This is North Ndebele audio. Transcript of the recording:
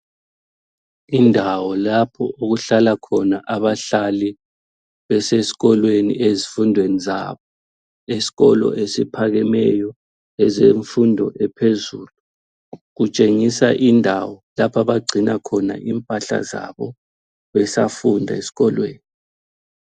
Indawo lapho okuhlala khona abahlali besesikolweni ezifundweni zabo, esikolo esiphakemeyo ezemfundo ephezulu, kutshengisa indawo lapha abagcina khona impahla zabo besafunda esikolweni.